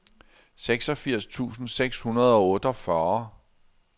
seksogfirs tusind seks hundrede og otteogfyrre